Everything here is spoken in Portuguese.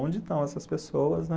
Onde estão essas pessoas, né?